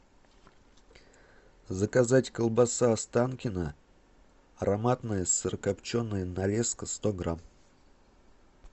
заказать колбаса останкино ароматная сырокопченая нарезка сто грамм